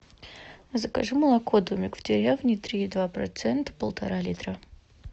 закажи молоко домик в деревне три и два процента полтора литра